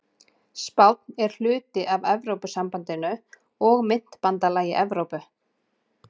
Spánn er hluti af Evrópusambandinu og myntbandalagi Evrópu.